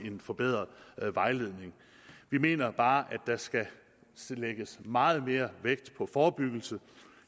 en forbedret vejledning vi mener bare at der skal lægges meget mere vægt på forebyggelse